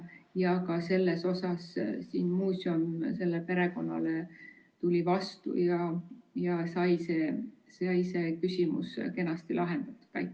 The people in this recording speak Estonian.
Ja ka selle konkreetse juhtumi puhul tuli muuseum perekonnale vastu ja küsimus sai kenasti lahendatud.